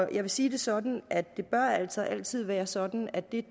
jeg vil sige det sådan at det altså altid bør være sådan at det